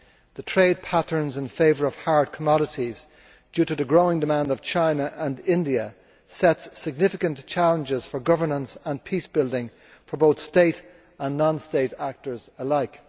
The trade patterns in favour of hard commodities, due to the growing demand of China and India, set significant challenges for governance and peace building for both state and non state actors alike.